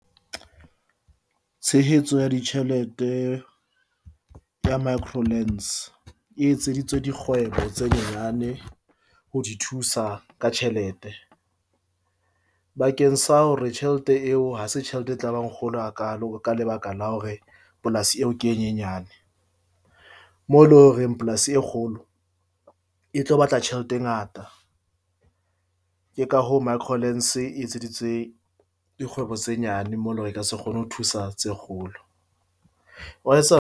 Tshehetso ya ditjhelete ya e etseditswe dikgwebo tse nyenyane ho di thusa ka tjhelete. Bakeng sa hore tjhelete eo ha se tjhelete, e tlabang kgolo ha kaalo ka lebaka la hore polasi eo ke e nyenyane. Mo loreng polasi e kgolo e tlo batla tjhelete e ngata ke ka hoo e etseditswe dikgwebo tse nyane mo eleng e ka se kgone ho thusa tse kgolo. Wa .